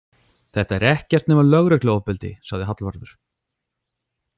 Þetta er ekkert nema lögregluofbeldi, sagði Hallvarður.